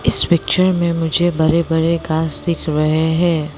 इस पिक्चर में मुझे बड़े बड़े घास दिख रहे हैं।